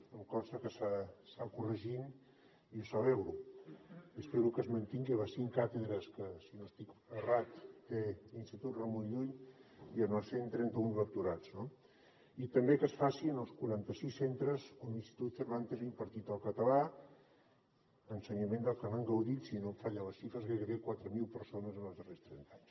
em consta que s’està corregint i ho celebro i espero que es mantinguin les cinc càtedres que si no estic errat té l’institut ramon llull i els cent i trenta un lectorats no i també que es faci en els quaranta sis centres on l’institut cervantes ha impartit el català ensenyament del que n’han gaudit si no em fallen les xifres gairebé quatre mil persones en els darrers trenta anys